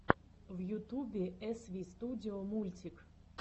в ютубе эсвистудио мультик